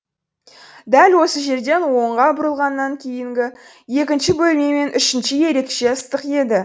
дәл осы жерден оңға бұрылғаннан кейінгі екінші бөлме мен үшінші ерекше ыстық еді